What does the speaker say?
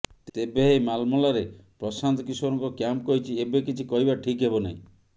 ତେବେ ଏହି ମାଲମଲାରେ ପ୍ରଶାନ୍ତ କିଶୋରଙ୍କ କ୍ୟାମ୍ପ କହିଛି ଏବେ କିଛି କହିବା ଠିକ୍ ହେବ ନାହିଁ